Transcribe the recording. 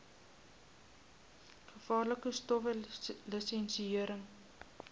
gevaarlike stowwe lisensiëring